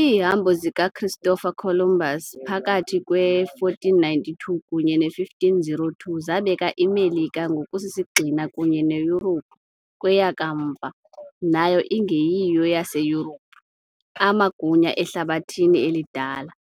Iihambo zikaChristopher Columbus phakathi kwe -1492 kunye ne-1502 zabeka iMelika ngokusisigxina kunye neYurophu, kweya kamva, nayo engeyiyo yaseYurophu, amagunya eHlabathi eliDala,